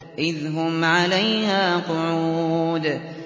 إِذْ هُمْ عَلَيْهَا قُعُودٌ